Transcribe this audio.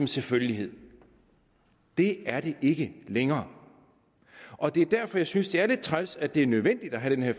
selvfølgelighed det er det ikke længere og det er derfor jeg synes det er lidt træls at det er nødvendigt at have den her